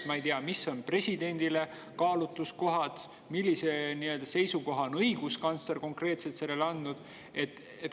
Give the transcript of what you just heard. Ma ei tea, mis võiks olla presidendile kaalutluskohad ja millise konkreetse seisukoha on õiguskantsler teada andnud?